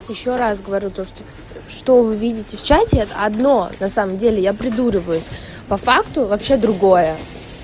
ещё раз говорю то что что вы видите в чате это одно на самом деле я придуриваюсь по факту вообще другое